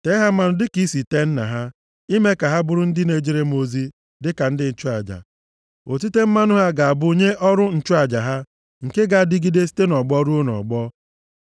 Tee ha mmanụ dịka i si tee nna ha, ime ka ha bụrụ ndị na-ejere m ozi dịka ndị nchụaja. Otite mmanụ ha ga-abụ nye ọrụ nchụaja ha nke ga-adịgide site nʼọgbọ ruo nʼọgbọ.”